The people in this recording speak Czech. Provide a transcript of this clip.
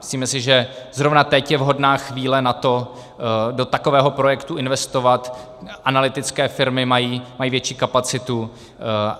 Myslíme si, že zrovna teď je vhodná chvíle na to do takového projektu investovat, analytické firmy mají větší kapacitu.